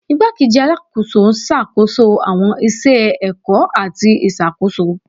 Igbakeji Alakoso n ṣakoso awọn iṣẹ ẹkọ ati iṣakoso